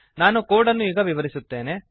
ನಾನು ಕೋಡ್ ಅನ್ನು ಈಗ ವಿವರಿಸುತ್ತೇನೆ